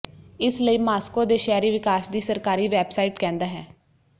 ਇਸ ਲਈ ਮਾਸਕੋ ਦੇ ਸ਼ਹਿਰੀ ਵਿਕਾਸ ਦੀ ਸਰਕਾਰੀ ਵੈਬਸਾਈਟ ਕਹਿੰਦਾ ਹੈ